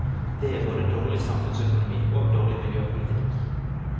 Det er både dårlig samfunnsøkonomi og dårlig miljøpolitikk.